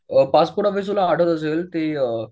passport office तुला आठवत असेल ते अ